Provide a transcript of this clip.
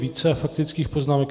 Více faktických poznámek.